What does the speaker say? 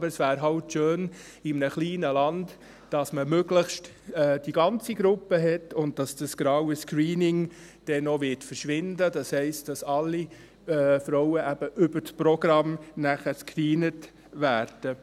Aber es wäre in einem kleinen Land eben schön, dass man möglichst die ganze Gruppe hat, und dass das «graue Screening» noch verschwindet, das heisst, dass eben alle Frauen über das Programm gescreent werden.